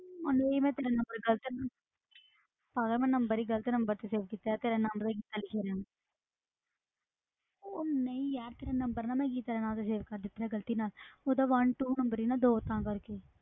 ਉਹਨੂੰ ਵੀ ਮੈਂ ਤੇਰਾ number ਗ਼ਲਤ ਪਾਗਲ ਮੈਂ number ਹੀ ਗ਼ਲਤ number ਤੇ save ਕੀਤਾ, ਤੇਰਾ ਨਾਮ ਪਤਾ ਗੀਤਾ ਲਿਖਿਆ ਗਿਆ ਉਹ ਨਹੀਂ ਯਾਰ ਤੇਰਾ number ਨਾ ਮੈਂ ਗੀਤਾ ਦੇ ਨਾਮ ਤੇ save ਕਰ ਦਿੱਤਾ ਗ਼ਲਤੀ ਨਾਲ ਉਹਦਾ one two number ਸੀ ਦੋਸਤਾਂ ਕਰਕੇ